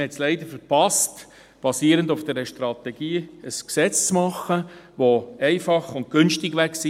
Man hat es leider verpasst, basierend auf der Strategie ein Gesetz zu machen, das einfach und günstig gewesen wäre.